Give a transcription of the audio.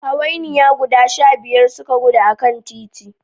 Hawainiya guda shabiyar suka gudu a kan titi